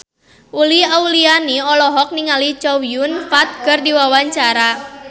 Uli Auliani olohok ningali Chow Yun Fat keur diwawancara